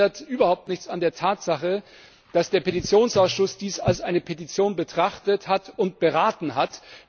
Das ändert überhaupt nichts an der Tatsache, dass der Petitionsausschuss dies als eine Petition betrachtet und beraten hat.